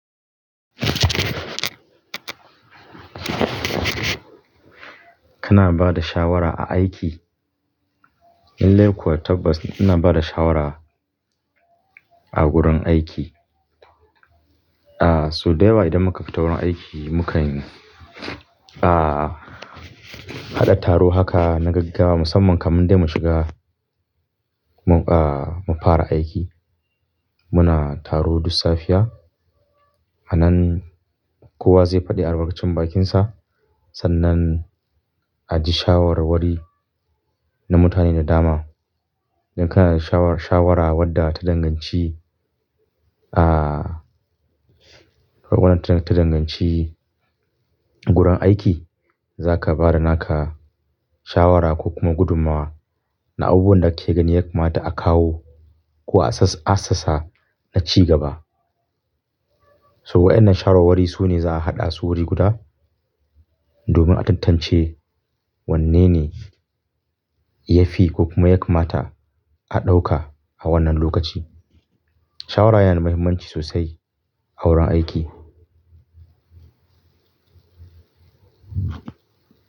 Kana ba da shawara a aiki? Lalai kuwa tabbas ina bada shawara a wurin aiki. Ah, so dayawa idan muka fita wurin aiki mukan, ah, haɗa taro haka na gaggawa musamman kaman dai mu shiga, ah, mu fara aiki. Muna taro duk safiya, a nan kowa zai faɗi albarkacin bakinsa sannan a ji shawarwari na mutane da dama. Idan kana da shawar-shawara wadda ta danganci, ah, warwaran ta danganci gurin aiki zaka bada naka shawara ko kuma gudunmawa na abubuwan da kake gani yakamata a kawo ko a sas-assasa na ci gaba. To waɗannan shawarwari su ne za'a haɗa su wuri guda domin a tantance wanne ne ya fi ko kuma yakamata a ɗauka a wannan lokaci. Shawara yana da muhimmanci sosai a wurin aiki.